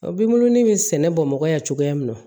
O binnun bɛ sɛnɛ bamakɔ yan cogoya min na